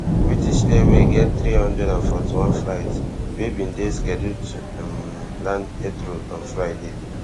british airways get three hundred and forty-one flights wey bin dey scheduled to um land heathrow on friday